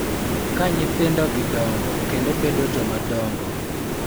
Ka nyithindogi dongo kendo bedo jomadongo .